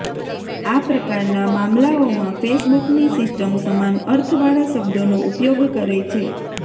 આ પ્રકારના મામલાઓમાં ફેસબુકની સિસ્ટમ સમાન અર્થ વાળા શબ્દોનો ઉપયોગ કરે છે